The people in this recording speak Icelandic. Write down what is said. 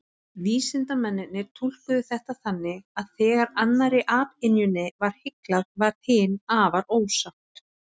Vísindamennirnir túlkuðu þetta þannig að þegar annarri apynjunni var hyglað, varð hin afar ósátt.